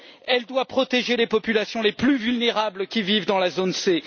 Elle doit protéger les populations les plus vulnérables qui vivent dans la zone C.